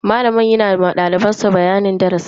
Malamin yana ma daliban sa bayanin darasi.